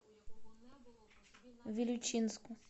вилючинску